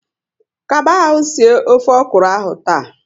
Kaba ahụ sie ofe okuro ahụ taa!